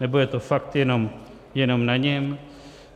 Nebo je to fakt jenom na něm?